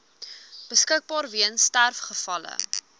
beskikbaar weens sterfgevalle